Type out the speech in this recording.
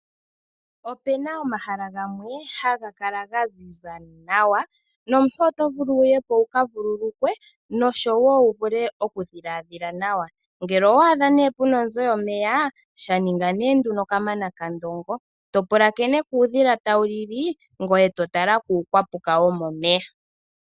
Opuna omahala gamwe haga kala ga ziza nawa, nomuntu oto vulu wu ye ko wuka vululukwe noshowo wu vule oku dhiladhila nawa. Ngele owa adha nee puna onzo yomeya sha ninga nee nduno kamana kaNdongo to pulakene kuudhila tawu li li ngoye to tala kuukwapuka wo momeya.